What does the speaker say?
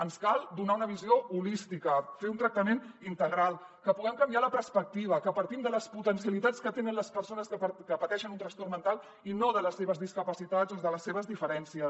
ens cal donar una visió holística fer un tractament integral que puguem canviar la perspectiva que partim de les potencialitats que tenen les persones que pateixen un trastorn mental i no de les seves discapacitats o de les seves diferències